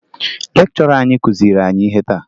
Lekchọra anyị kụziri anyị ihe taa